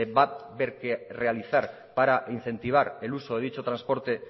va haber que realizar para incentivar el uso de dicho transporte